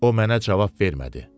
O mənə cavab vermədi.